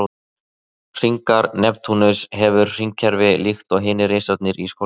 Hringar Neptúnus hefur hringakerfi líkt og hinir risarnir í sólkerfinu.